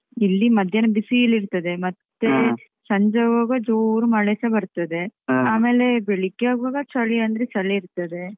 ಇಲ್ಲಿ ಮಧ್ಯಾಹ್ನ ಬಿಸೀಲಿರ್ತದೆ, ಮತ್ತೆ ಸಂಜೆ ಆಗ್ವಾಗ ಜೋರು ಮಳೆ ಸ ಬರ್ತದೆ ಆಮೇಲೆ ಬೆಳಿಗ್ಗೆಯಾಗ್ವಾಗ ಚಳಿ ಅಂದ್ರೆ ಚಳಿ ಇರ್ತದೆ.